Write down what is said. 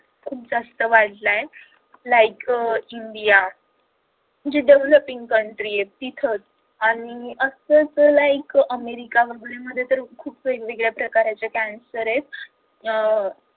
खूप जास्त वाढलाय like इंडिया जी devoloping country आहे तिथे आणि असच like अमेरिका वगेरे मध्ये तर खूप वेगवेगळ्या प्रकारचे cancer आहेत